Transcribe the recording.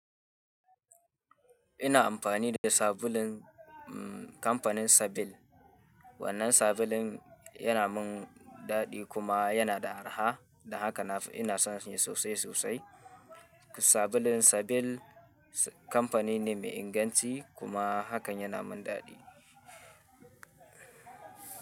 Ina amfani da sabulun kampanin Sabil. Wannan sabulun yana min daɗi kuma yana da araha, dan haka ina son shi sosai sosai. Sabulun Sabil kamfani ne mai inganci kuma hakan yana min daɗi.